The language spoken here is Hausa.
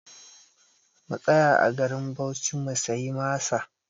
Mu tsaya a garin Bauchi mu siya masa!